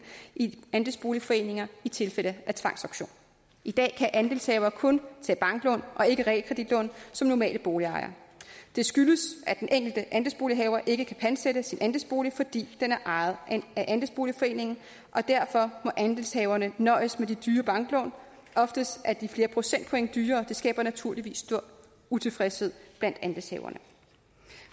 i andelsboligforeninger i tilfælde af tvangsauktion i dag kan andelshavere kun tage banklån og ikke realkreditlån som almindelige boligejere det skyldes at den enkelte andelsbolighaver ikke kan pantsætte sin andelsbolig fordi den er ejet af andelsboligforeningen og derfor må andelshaverne nøjes med de dyre banklån oftest er de flere procentpoint dyrere og det skaber naturligvis stor utilfredshed blandt andelshaverne